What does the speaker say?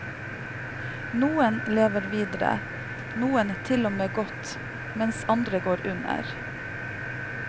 Nokre lever vidare, somme til og med godt, medan andre går under.